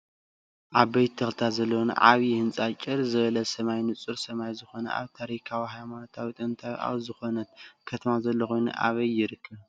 ዓበይቲ ተክታት ዘለዎን ዓብይ ህንፃን ጭርያ ዝበለ ሰማይ ንፁር ሰማያዊ ዝኮነ ኣብ ታሪካዊትን ሃይማኖታዊትን ጥንታዊት ኣብ ዘኮነት ከተማ ዘሎ ኮይኑ ኣበይ ይርከብ?